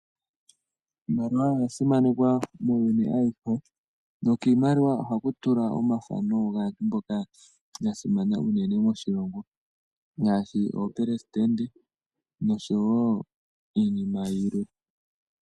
Iimaliwa oya simanekwa muuyuni awuhe , nokiimaliwa ohaku tulwa omathano gaantu mboka yasimana unene moshilongo, ngaashi oopresidente noshowo iinima yilwe .